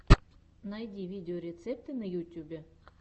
найди видеорецепты на ютюбе